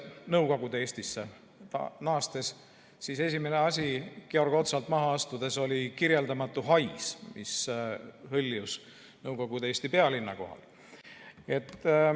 Nõukogude Eestisse naastes oli esimene asi Georg Otsalt maha astudes kirjeldamatu hais, mis hõljus Nõukogude Eesti pealinna kohal.